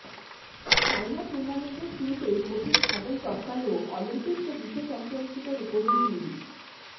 সাইনা টুর্নামেন্টের শুরুতেই কঠিন হার্ডল টপকালেও অলিম্পিক্স ও বিশ্ব চ্যাম্পিয়নশিপে রুপোজয়ী পিভি